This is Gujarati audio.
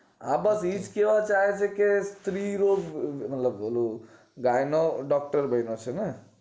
આપડા બહાર ના doctor બનિયા છે ને